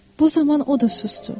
Bu zaman o da susdu.